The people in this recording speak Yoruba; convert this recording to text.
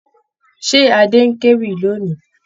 Ṣé Adé ń kéwì lónì?